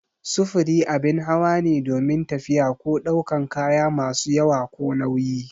Sufuri abin hawa ne domin tafiya ko daukan kaya masu yawa ko nauyi